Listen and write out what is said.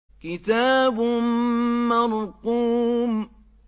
كِتَابٌ مَّرْقُومٌ